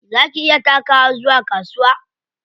Za ki iya takawa zuwa kasuwa?